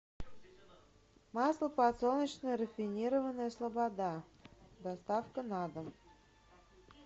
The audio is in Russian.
масло подсолнечное рафинированное слобода доставка на дом